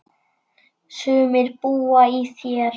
Sumir búa í þér.